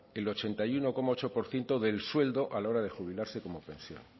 el ochenta y uno coma ocho por ciento del sueldo a la hora de jubilarse como pensión